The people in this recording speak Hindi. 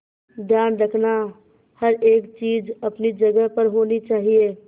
ध्यान रखना हर एक चीज अपनी जगह पर होनी चाहिए